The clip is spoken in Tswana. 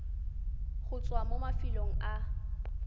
go tswa mo mafelong a